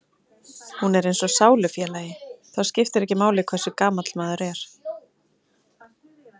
Hún er eins og sálufélagi, þá skiptir ekki máli hversu gamall maður er.